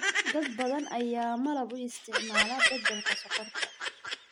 Dad badan ayaa malab u isticmaala beddelka sonkorta.